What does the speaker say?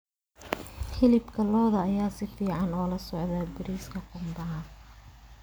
Hilibka lo'da ayaa si fiican ula socda bariiska qumbaha.